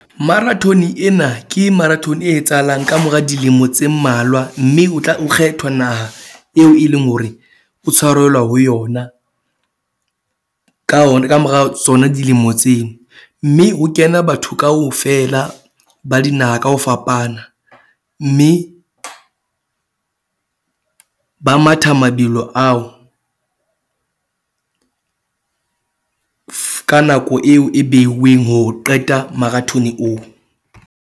Marathon ena ke marathon e etsahalang kamora dilemo tse mmalwa. Mme o tla o kgethwa naha eo e leng hore o tshwarelwa ho yona. Ka ona kamora tsona dilemo tseo. Mme ho kena batho kaofela ba dinaha ka ho fapana, mme ba matha mabelo ao ka nako eo e beuweng ho qeta marathon oo.